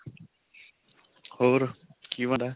ਹੋਰ ਕੀ ਬਣ ਰਿਹਾ